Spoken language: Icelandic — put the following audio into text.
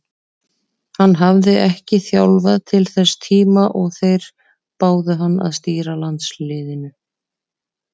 Hann hafði ekki þjálfað til þess tíma og þeir báðu hann að stýra landsliðinu.